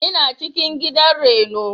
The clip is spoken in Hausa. Ina cikin gidan raino.